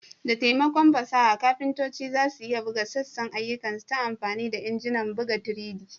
Da taimakon fasaha, kafintoci za su iya buga sassan ayyukansu ta amfani da injinan buga 3D.